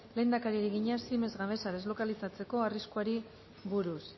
lehendakariari egina siemens gamesa deslokalizatzeko arriskuari buruz